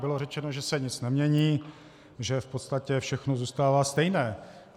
Bylo řečeno, že se nic nemění, že v podstatě všechno zůstává stejné.